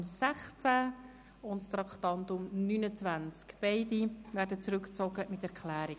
Es betrifft das Traktandum 16 und das Traktandum 29.